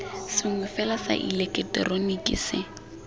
sengwe fela sa ileketeroniki se